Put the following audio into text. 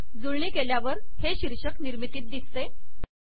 जुळणी केल्यावर हे शीर्षक निर्मितीत दिसते